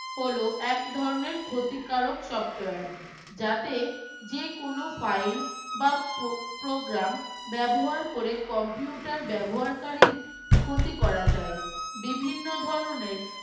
হলো এক ধরনের ক্ষতিকারক software যাতে যেকোনো file বা pro program ব্যবহার করে computer ব্যবহারকারীর ক্ষতি করা যায় বিভিন্ন ধরনের